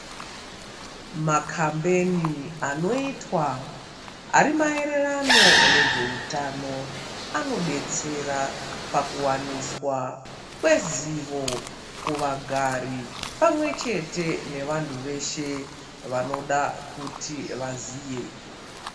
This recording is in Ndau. Makambeni anoitwa ari maererano ne zveutano ano detsera paku waniswa kwezivo ku vagari pamwe chete ne vantu veshe vanoda kuti vaziye.